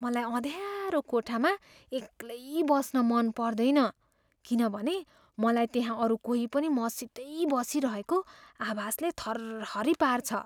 मलाई अँध्यारो कोठामा एक्लै बस्न मन पर्दैन किनभने मलाई त्यहाँ अरू कोही पनि मसितै बसिरहेको आभासले थरहरी पार्छ।